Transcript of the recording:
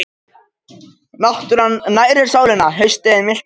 Náttúran nærir sálina Haustið er milt og hlýtt.